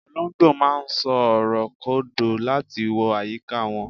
olongbo ma n so ọrọ kodò lati wo ayika won